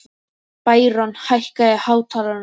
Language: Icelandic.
Bæron, hækkaðu í hátalaranum.